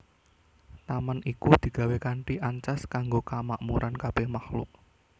Taman iku digawé kanthi ancas kanggo kamakmuran kabèh makhluk